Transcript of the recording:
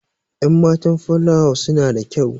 Enmatan filawa suna da kyau.